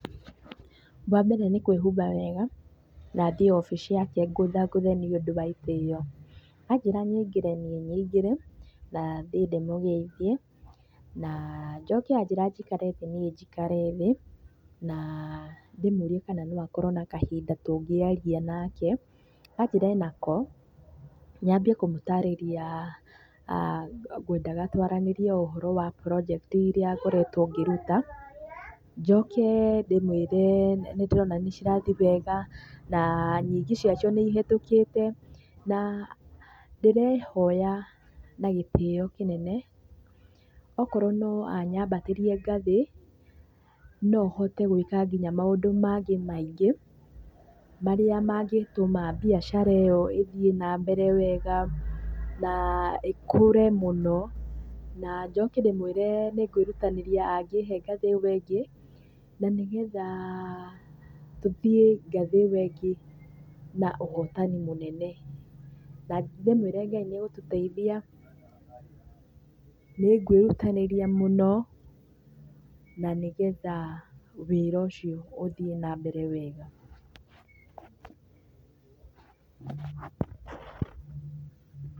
Wambere nĩ kwĩhumba wega na thiĩ obici yake ngũthangũthe nĩũndũ wa itĩo. Anjĩra nyingĩre niĩ nyingĩre, na thiĩ ndĩmũgeithie. Naa ajĩra njikare thĩ niĩ njikare thĩ, naa ndĩmũrie kana no akorwo na kahinda tũngĩaria nake, anjĩra enako, nyambie kũmũtarĩria ngwendaga twaranĩrie ũhoro wa project i iria ngoretwo ngĩruta, njoke ndĩmwĩre nĩndĩrona nĩcirathiĩ wega, naa nyingĩ ciacio nĩcihĩtũkĩte, na ndĩrehoya na gĩtĩo kĩnene akorwo no anyambatĩrie ngathĩ, no hote gwĩka kinya maũndũ mangĩ maingĩ marĩa mangĩtũma mbiacara ĩyo ĩthiĩ na mbere wega, naa ĩkũre mũno. Na njoke ndĩmwĩre nĩngũĩrutanĩria angĩhe ngathĩ ĩyo ĩngĩ, na nĩgetha tũthiĩ ngathĩ ĩyo ĩngĩ na ũhotani mũnene. Na ndĩmwĩre Ngai nĩegũtũteithia nĩngwĩrutanĩria mũno, na nĩgetha wĩra ũcio ũthiĩ nambere wega. Pause